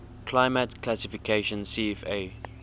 climate classification cfa